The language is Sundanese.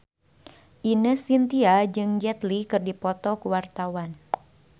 Ine Shintya jeung Jet Li keur dipoto ku wartawan